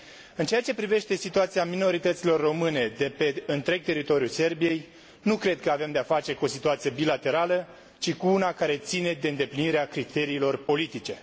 În ceea ce privește situația minorităților române de pe întreg teritoriul Serbiei, nu cred că avem de a face cu o situație bilaterală, ci cu una care ține de îndeplinirea criteriilor politice.